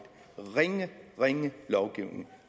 ringe ringe lovgivning